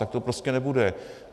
Tak to prostě nebude.